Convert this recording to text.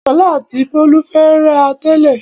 Ṣọlá àti Bólú ń fẹ́ra tẹ́lẹ̀.